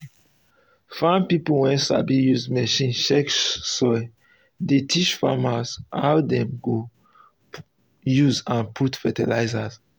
farm pipo wey sabi use machine check soil dey teach farmers how dem go use and put fertilizer.